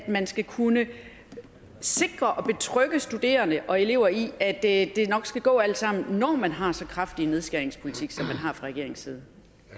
man skal kunne forsikre og betrygge studerende og elever i at det nok skal gå alt sammen når man har så kraftig en nedskæringspolitik som man har fra regeringens side